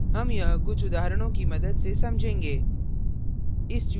हम यह कुछ उदाहरणों की मदद से समझेंगे